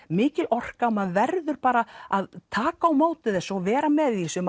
mikil orka og maður verður bara að taka á móti þessu og vera með í þessu